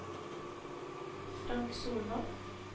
Frank Solvang